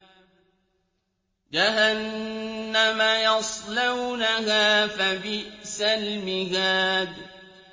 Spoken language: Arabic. جَهَنَّمَ يَصْلَوْنَهَا فَبِئْسَ الْمِهَادُ